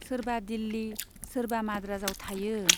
सोरबा दिल्ली , सोरबा माद्राजआव थायो।